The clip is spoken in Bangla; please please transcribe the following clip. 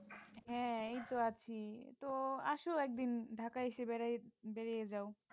হ্যাঁ এই তো আছি তো আসো একদিন ঢাকায় এসে বেড়ায় বেরিয়ে যাও।